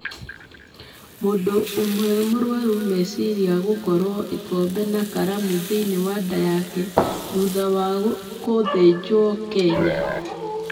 Mũndũ ũmwe mũrũarũ meciria gũkoruo ĩkombe na karamu thĩinĩ wa nda yake thutha wa kũthĩnjwo Kenya